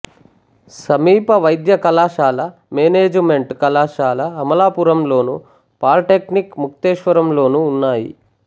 సమీప వైద్య కళాశాల మేనేజిమెంటు కళాశాల అమలాపురంలోను పాలీటెక్నిక్ ముక్తేశ్వరంలోనూ ఉన్నాయి